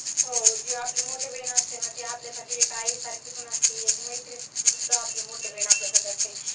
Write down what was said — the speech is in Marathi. हो, जेव्हा आपली मोठी बहीण असते ना, ती आपल्यासाठी एक आईसारखी पण असती, एक मैत्रीणसुद्धा आपली मोठी बहीण आपल्यासाठी असते.